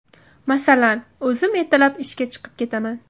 Masalan, o‘zim ertalab ishga chiqib ketaman.